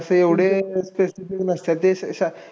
असे एवढे specific नसतात. जे